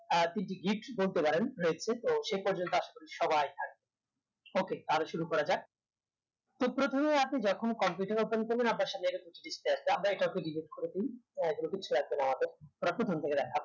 আহ তিনটি gift বলতে পারেন রয়েছে তো সে পর্যন্ত আশা করি সবাই থাকবেন okay তাহলে শুরু করা যাক তো প্রথমে আপনি যখন computer open করবেন আপনার সামনে এরকম একটি display আসবে আমরা এটি এটি এখন delete করে দেই হ্যা কিচ্ছু আসবেনা আমাদের আবার প্রথম থেকে দেখাবো